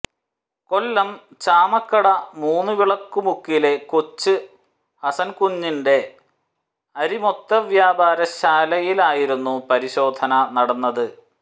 കൊല്ലം ചാമക്കട മൂന്നുവിളക്കുമുക്കിലെ കൊച്ച് ഹസൻകുഞ്ഞിന്റെ അരിമൊത്തവ്യാപാര ശാലയിലായിരുന്നു പരിശോധന നടന്നത്